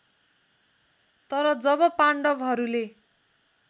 तर जब पाण्डवहरूले